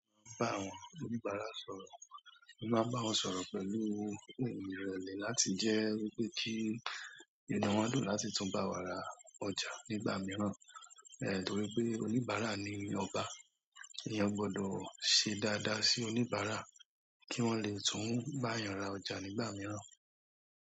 Mo máa ń bá àwọn oníbàárà sọ̀rọ̀, mo máa ń bá wọn sọ̀rọ̀ pẹ̀lú ìrọ̀lẹ́ láti jẹ́ wípé kí inú wón dùn láti tún bá wa ra ọjà nígbà mìíràn. Torí pé oníbàárà ni ọba. Ìyẹn gbọdọ̀ ṣe dáadáa sí oníbàárà kí wọ́n lè tún bá yàn ra ọjà nígbà mìíràn.